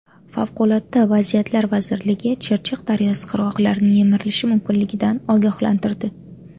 Favqulodda vaziyatlar vazirligi Chirchiq daryosi qirg‘oqlarining yemirilishi mumkinligidan ogohlantirdi.